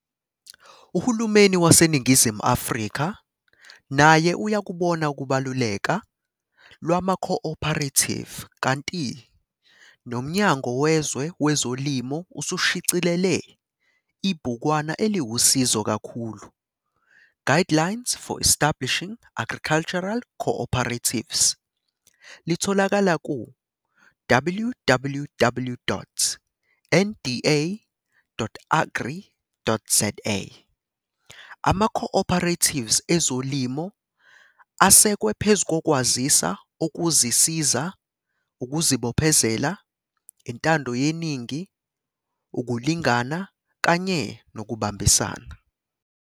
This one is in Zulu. Uhulumeni waseNingizimu Afrika naye uyakubona ukubaluleka lwamaco-operative kanti noMnyango weZwe weZolimo usushicilele ibhukwana eliwusizo kakhulu- Guidelines for Establishing Agricultural Co-operatives., Litholakala ku-www.nda.agri.za, "Amaco-operatives ezolimo asekwe phezu kokwazisa okuzisiza, ukuzibophezela, intando yeningi, ukulingana kanye nokubambisana."